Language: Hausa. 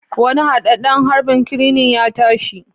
Wani hadadden harbin crane ya tashi